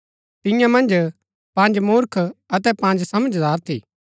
तियां मन्ज पँज मूर्ख अतै पँज समझदार थी